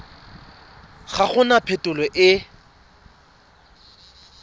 ga go na phitlho e